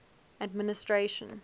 administration